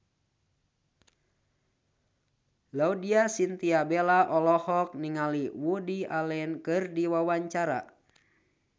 Laudya Chintya Bella olohok ningali Woody Allen keur diwawancara